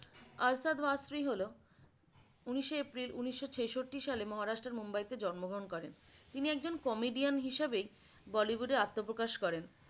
আরশাদ ওয়ারিস হল উনিশে এপ্রিল ঊনিশো ছেষট্টি সালের মহারাষ্ট্রের মুম্বাইতে জন্মগ্রহণ করেন তিনি একজন comidian হিসেবে bollywood আত্মপ্রকাশ করেন।